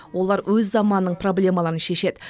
олар өз заманының проблемаларын шешеді